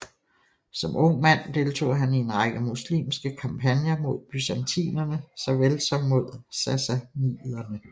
Som ung mand deltog han i en række muslimske kampagner mod byzantinerne såvel som mod sassaniderne